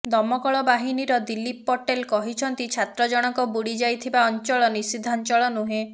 ଦମକଳ ବାହିନୀର ଦିଲ୍ଲୀପ ପଟେଲ କହିଛନ୍ତି ଛାତ୍ର ଜଣକ ବୁଡ଼ି ଯାଇଥିବା ଅଞ୍ଚଳ ନିଷିଦ୍ଧାଞ୍ଚଳ ନୁହେଁ